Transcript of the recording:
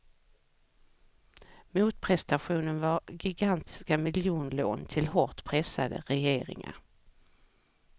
Motprestationen var gigantiska miljonlån till hårt pressade regeringar.